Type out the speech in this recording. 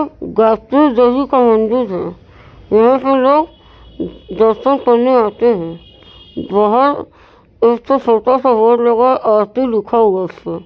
गायत्री देवी का मंदिर है। यहाँ पे लोग दर्शन करने आते हैं। बाहर एक छोटा सा बोर्ड लगा है आरती लिखा हुआ है उसपे।